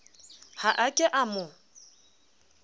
ha a ke a mo